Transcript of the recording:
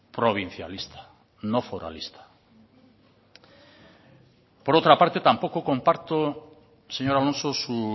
provincialista no foralista por otra parte tampoco comparto señor alonso su